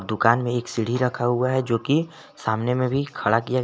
दुकान में भी एक सीढी रखा हुआ है जोकि सामने में भी खड़ा किया गया--